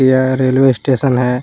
यह railway station है।